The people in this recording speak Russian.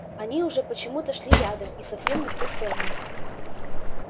они уже почему-то шли рядом и совсем не в ту сторону